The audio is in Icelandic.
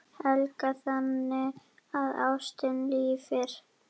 Helga: Þannig að ástin lifir?